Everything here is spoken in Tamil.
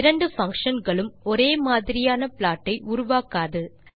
இரண்டு பங்ஷன் களும் ஒரே மாதிரியான ப்ளாட் ஐ உருவாக்காது